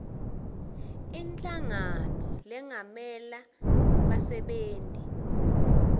inhlangano lengamela bassebenti